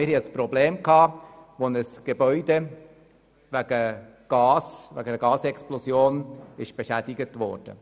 Wir hatten ein Problem, weil ein Gebäude infolge einer Gasexplosion beschädigt wurde.